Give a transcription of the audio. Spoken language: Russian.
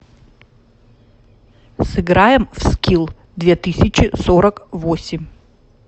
сыграем в скилл две тысячи сорок восемь